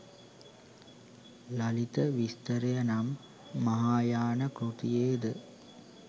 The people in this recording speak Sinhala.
ලලිත විස්තරය නම් මහායාන කෘතියේ ද